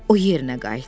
O yerinə qayıtdı.